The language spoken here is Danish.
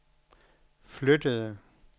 flyttede